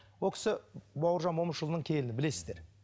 ол кісі бауыржан момышұлының келіні білесіздер